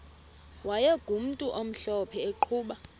wayegumntu omhlophe eqhuba